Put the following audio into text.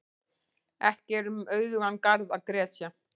Ekki er um auðugan garð að gresja.